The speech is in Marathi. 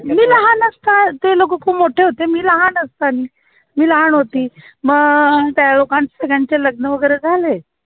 मी लहान असता ते लोकं खूप मोठे होते मी लहान असतानी मी लहान होती म त्या लोकांचे सगळ्यांचे लग्न वैगेरे झाले